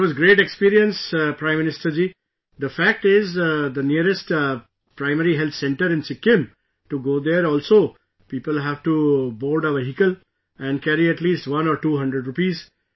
It was a great experience Prime Minister ji...The fact is the nearest PHC in Sikkim... To go there also people have to board a vehicle and carry at least one or two hundred rupees